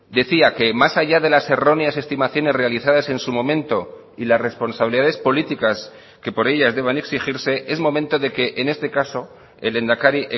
decía que más allá de las erróneas estimaciones realizadas en su momento y las responsabilidades políticas que por ellas deban exigirse es momento de que en este caso el lehendakari